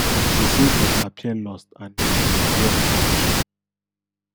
she say dem appear lost and dia underwear bin dey show